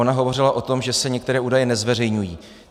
Ona hovořila o tom, že se některé údaje nezveřejňují.